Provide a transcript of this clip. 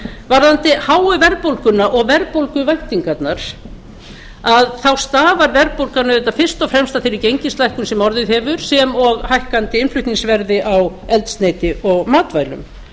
varðandi háu verðbólguna og verðbólguvæntingarnar þá stafar verðbólgan auðvitað fyrst og fremst að þeirri gengislækkun sem orðið hefur sem og hækkandi innflutningsverði á eldsneyti og matvælum